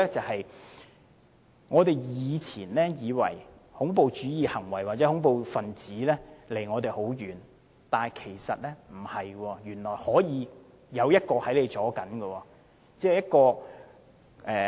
第一，我們以前以為恐怖主義行為或恐怖分子離我們很遠，但其實不是，原來可能他們在我們中間。